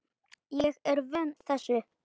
Ég er vön þessu.